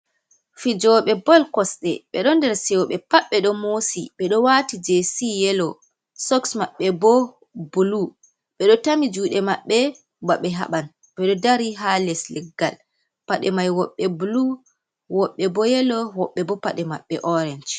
Fijoɓe bol kosde ɓedo der sewo, ɓe pat ɓe do mosi ɓedo wati jesi yelo, soks maɓɓe bo bulu, ɓeɗo tami juɗe maɓɓe ba ɓe haɓan, ɓedo dari ha les leggal, paɗe mai woɓɓe bulu, woɓɓe bo yelo, woɓɓe bo paɗe maɓɓe orange.